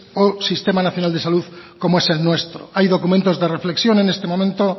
o sistema nacional de salud como es el nuestro hay documentos de reflexión en este momento